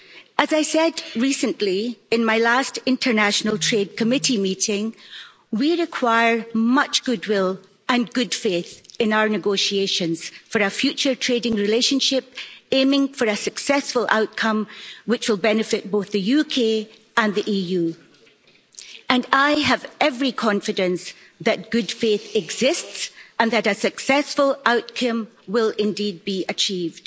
As I said recently in my last meeting of the Committee on International Trade, we require much good will and good faith in our negotiations for our future trading relationship, aiming for a successful outcome which will benefit both the UK and the EU, and I have every confidence that good faith exists and that a successful outcome will, indeed, be achieved.